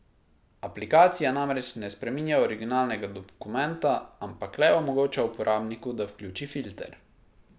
Aplikacija namreč ne spreminja originalnega dokumenta, ampak le omogoča uporabniku, da vključi filter.